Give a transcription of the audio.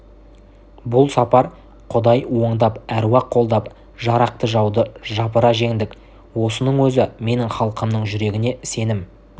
бұл сапар құдай оңдап әруақ қолдап жарақты жауды жапыра жеңдік осының өзі менің халқымның жүрегіне сенім